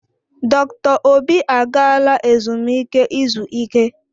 Dr. Obi agaala ezumike izu ike.